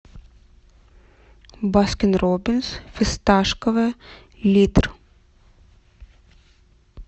баскин роббинс фисташковое литр